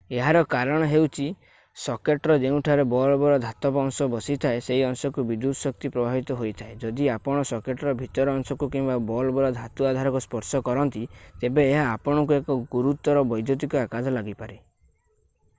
ଏହାର କାରଣ ହେଉଛି ସକେଟ୍‌ର ଯେଉଁଠାରେ ବଲ୍‌ବର ଧାତବ ଅଂଶ ବସିଥାଏ ସେହି ଅଂଶକୁ ବିଦ୍ୟୁତ୍ ଶକ୍ତି ପ୍ରବାହିତ ହୋଇଥାଏ ଯଦି ଆପଣ ସକେଟର ଭିତର ଅଂଶକୁ କିମ୍ବା ବଲ୍‌ବର ଧାତୁ ଆଧାରକୁ ସ୍ପର୍ଶ କରନ୍ତି ତେବେ ଏହା ଆପଣଙ୍କୁ ଏକ ଗୁୁରୁତର ବୈଦ୍ୟୁତିକ ଆଘାତ ଲାଗିପାରେ।